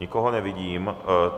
Nikoho nevidím.